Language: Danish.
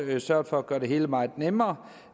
sørget for at gøre det hele meget nemmere